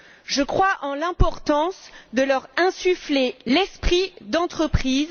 Je crois en l'importance de leur insuffler l'esprit d'entreprise.